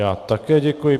Já také děkuji.